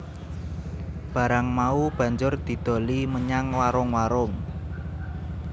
Barang mau banjur didoli menyang warung warung